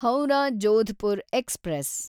Howrah Jodhpur express